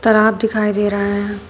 तालाब दिखाई दे रहा है।